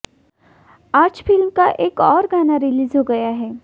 आज फिल्म का एक और गाना रिलीज हो गया है